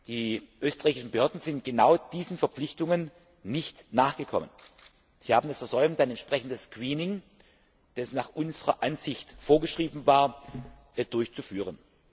Die österreichischen Behörden sind genau diesen Verpflichtungen nicht nachgekommen. Sie haben es versäumt, ein entsprechendes Screening, das nach unserer Ansicht vorgeschrieben war, durchzuführen.